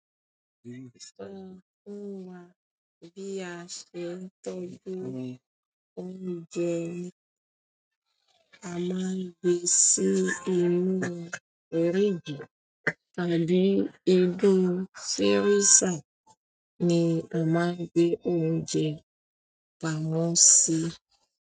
So fún wa bíi àsè n tọ́jú oúnjẹ à maa ń gbé sí inú fridge tàbí inú freezer ni a máa ń gbé oúnjẹ pamọ́ sí.